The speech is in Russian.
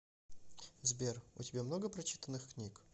сбер у тебя много прочитанных книг